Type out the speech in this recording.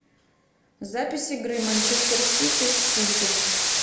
запись игры манчестер сити с сити